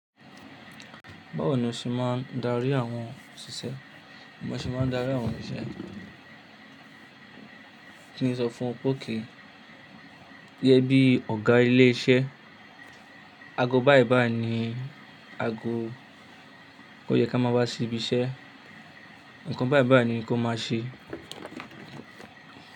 Báwo ni o ṣe máa darí àwọn òṣìṣẹ́? Bi mọ ṣe máa darí àwọn òṣìṣẹ́? Kí ni sọ fún pókì ẹ bí Ọ̀gá ilé iṣẹ́. Ago báyìí báyìí ni ago kó yẹ ká máa wá síbi iṣẹ́. Ǹkan báyìí báyìí ni kó máa ṣe.